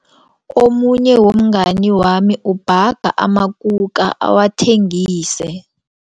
Omunye womngani wami ubhaga amakuka awathengise.